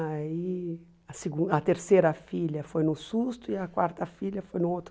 Aí a segun a terceira filha foi no susto e a quarta filha foi no outro